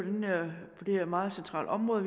det her meget centrale område